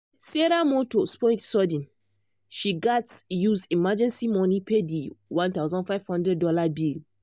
sarah motor spoil sudden she gatz use emergency money pay the one thousand five hundred dollars bill.